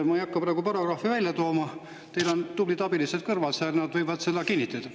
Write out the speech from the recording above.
Ma ei hakka praegu paragrahvi välja tooma, teil on tublid abilised kõrval seal, nad võivad seda kinnitada.